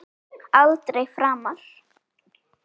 Aldrei framar.